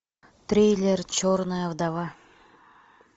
трейлер черная вдова